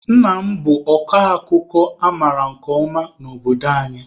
Nna m bụ ọkọ akụkọ a mara nke ọma n'obodo anyị.